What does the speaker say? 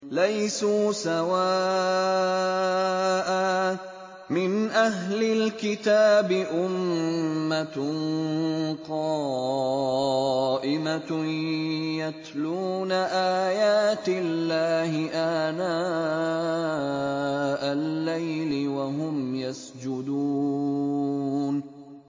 ۞ لَيْسُوا سَوَاءً ۗ مِّنْ أَهْلِ الْكِتَابِ أُمَّةٌ قَائِمَةٌ يَتْلُونَ آيَاتِ اللَّهِ آنَاءَ اللَّيْلِ وَهُمْ يَسْجُدُونَ